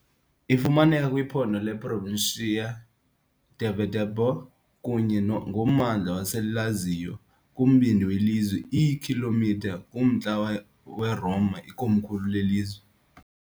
Ifumaneka kwiphondo leProvincia di Viterbo kunye nommandla waseLazio, kumbindi welizwe, iikhilomitha kumntla weRoma, ikomkhulu lelizwe.